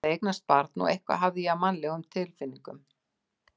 Ég hafði eignast barn og eitthvað hafði ég af mannlegum tilfinningum.